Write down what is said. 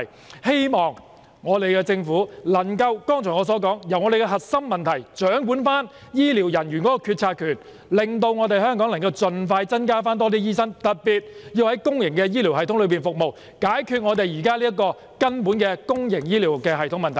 我希望政府可以處理我剛才所說的核心問題，掌管醫療人員的決策權，令香港可以盡快增加更多醫生人手，特別是在公營醫療系統中服務的人手，以解決現時公營醫療的根本問題。